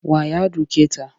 Wa ya duke ta?